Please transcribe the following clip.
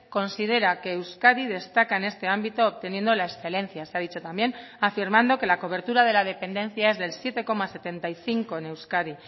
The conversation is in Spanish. considera que euskadi destaca en este ámbito obteniendo la excelencia se ha dicho también afirmando que la cobertura de la dependencia es del siete coma setenta y cinco en euskadi